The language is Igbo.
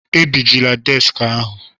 Agbajila deski ahụ!